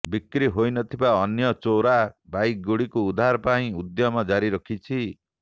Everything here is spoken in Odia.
ବିକ୍ରି ହୋଇଥିବା ଅନ୍ୟ ଚୋରା ବାଇକଗୁଡିକୁ ଉଦ୍ଧାର ପାଇଁ ଉଦ୍ୟମ ଜାରି ରଖିଛି